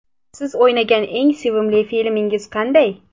Siz o‘ynagan eng sevimli filmingiz qanday?